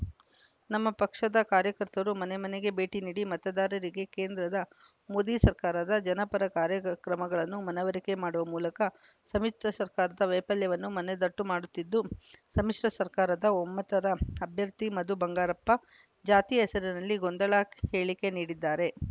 ನಮ್ಮ ಪಕ್ಷದ ಕಾರ್ಯಕರ್ತರು ಮನೆಮನೆಗೆ ಭೇಟಿ ನೀಡಿ ಮತದಾರರಿಗೆ ಕೇಂದ್ರದ ಮೋದಿ ಸರ್ಕಾರದ ಜನಪರ ಕಾರ್ಯಗಕ್ರಮಗಳನ್ನು ಮನವರಿಕೆ ಮಾಡುವ ಮೂಲಕ ಸಮ್ಮಿಶ್ರ ಸರ್ಕಾರದ ವೈಫಲ್ಯವನ್ನೂ ಮನದಟ್ಟು ಮಾಡುತ್ತಿದ್ದು ಸಮ್ಮಿಶ್ರ ಸರ್ಕಾರದ ಒಮ್ಮತದ ಅಭ್ಯರ್ಥಿ ಮಧು ಬಂಗಾರಪ್ಪ ಜಾತಿಯ ಹೆಸರಿನಲ್ಲಿ ಗೊಂದಲ ಹೇಳಿಕೆ ನೀಡಿದ್ದಾರೆ